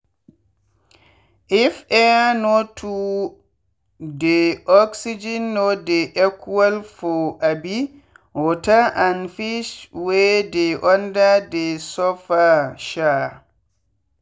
if air no too deyoxygen no dey equal for um water and fish wey dey under dey suffer. um